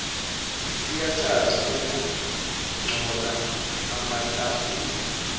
kuyacaca kungcola amatafula